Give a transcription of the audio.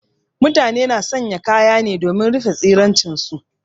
Mutane na sanya kaya ne domin rufe tsiraicin su.